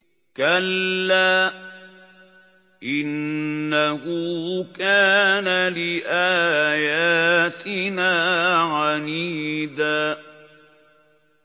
كَلَّا ۖ إِنَّهُ كَانَ لِآيَاتِنَا عَنِيدًا